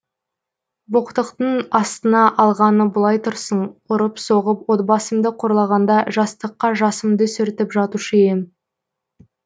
боқтықтың астына алғаны былай тұрсын ұрып соғып отбасымды қорлағанда жастыққа жасымды сүртіп жатушы ем